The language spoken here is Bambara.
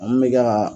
Mun bɛ ka